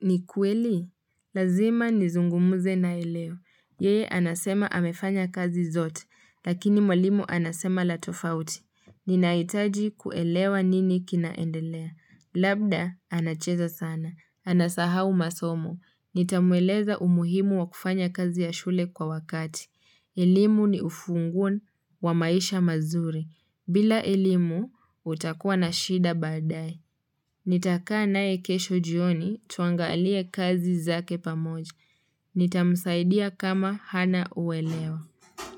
ni kweli? Lazima nizungumze naye leo. Yeye, anasema amefanya kazi zote. Lakini mwalimu anasema la tofauti. Ninaitaji kuelewa nini kinaendelea. Labda, anacheza sana. Anasahau masomo. Nitamweleza umuhimu wa kufanya kazi ya shule kwa wakati. Elimu ni ufunguo wa maisha mazuri. Bila elimu utakuwa na shida baadae. Nitakaa naye kesho jioni tuangalie kazi zake pamoja. Nitamsaidia kama hana uelewa.